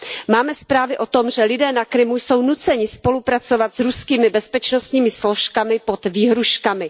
Máme zprávy o tom, že lidé na Krymu jsou nuceni spolupracovat s ruskými bezpečnostními složkami pod výhružkami.